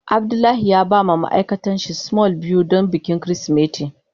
Abdullahi ya ba ma ma'aikatan shi small biyu don bikin kirisimeti.